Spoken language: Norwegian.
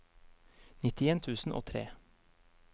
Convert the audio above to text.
nittien tusen og tre